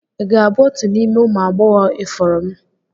Ị ga-abụ otu n'ime ụmụ agbọghọ ifuru m?